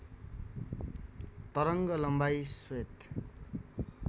तरङ्ग लम्बाइ श्वेत